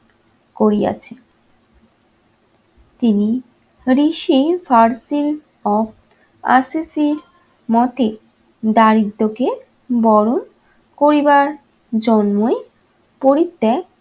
করিয়াছে। তিনি ঋষি of আর্সেসির মতে দারিদ্রকে বরণ করিবার জন্যই পরিত্যাগ